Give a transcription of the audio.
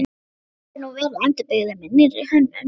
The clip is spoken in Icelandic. Hann hefur nú verið endurbyggður með nýrri hönnun.